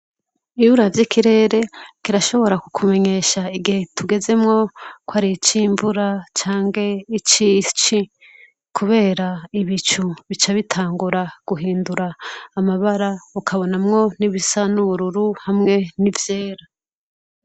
Iyo uravye ikirere kirashobora kukumenyesha igihe tugezemwo ko ari ic'imvura canke ic'ici kubera ibicu bica bitangura guhindura amabara ukabonamwo n'ibisa n'ubururu hamwe n'ivyera.